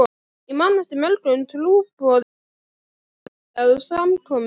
Ég man eftir mörgum trúboðum sem stóðu að samkomum.